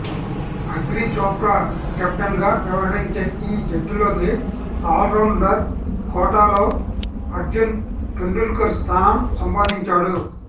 అగ్రిచోప్రా కెప్టెన్గా వ్యవహరించే ఈ జట్టులోకి ఆల్రౌండర్ కోటాలో అర్జున్ తెందుల్కర్ స్థానం సంపాదించాడు